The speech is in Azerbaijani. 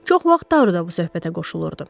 Çox vaxt Taru da bu söhbətə qoşulurdu.